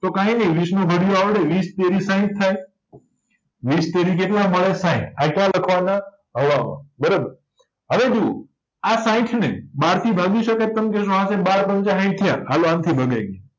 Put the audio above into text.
તો કાયનય વીસનો ઘડીયો આવડે વીસ તેરી સાઈઠ થાય વીસ તેરી કેટલા મળે સાઈઠ આ ક્યાં લખવાના હવાલો બરાબર હવે જુવો આ સાઈઠને બારથી ભાગીસકાય તમ કેજો બાર પંચા સાઈઠ થયા હાલો આનથી ભગાય ગયું